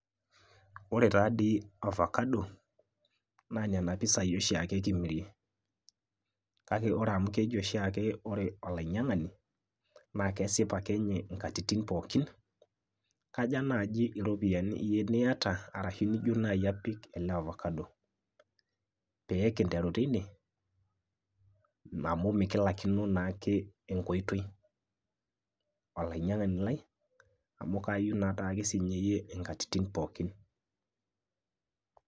Ore taa dii orfakado naa nena pisai oshiake kimirie, kake ore amu keji oshiake ore olainy'iang'ani naa kesip ake ninye inkatitin pookin, kaja naaji iropiyiani iyie niata?, arashu nijo naiji apik ele orfakado, pee kinteru tine amu mekilaikino naake enkoitoi olainyiang'ani lai amu kaayieu naake siinye iyie inkatitin pookin.